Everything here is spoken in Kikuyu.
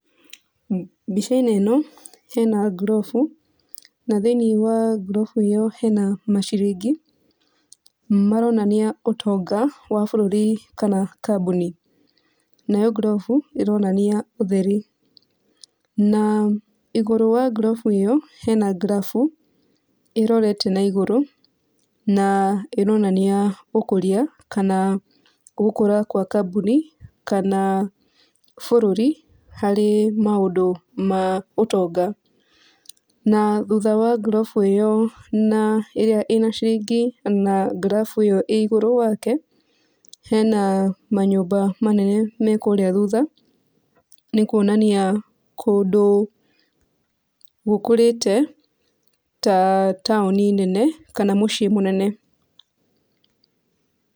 Mbica-inĩ ĩno hena ngurobu, na thĩiniĩ wa ngurobu ĩyo hena maciringi maronania ũtonga wa bũrũri kana kambũni, nayo ngurobu ĩronania ũtheri. Na igũrũ wa ngurobu ĩyo hena ngrabu ĩrorete na ĩgũrũ na ĩronania ũkũria, kana gũkũra gwa kambũni, kana bũrũri harĩ maũndũ ma ũtonga. Na thutha wa ngurobu ĩyo na ĩrĩa ĩna ciringi na ngrabu ĩyo ĩ igũrũ wake hena manyũmba manene me kũrĩa thutha nĩ kuonania kũndũ gũkũrĩte ta taũni nene kana mũciĩ mũnene.